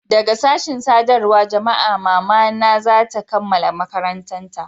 daga sashin sadarwar jama'a mama na za ta kammala makaranta